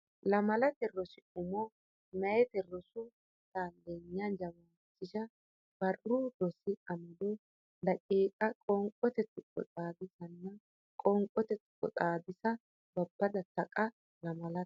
Lamalate Rosi Umo Meyate Rosu Taalleenya Jawaachisha Barru Rosi Amado daqiiqa Qoonqote Tuqqo Xaadisanna Qoonqote Tuqqo Xaadisa Babbada Taqa Lamalate.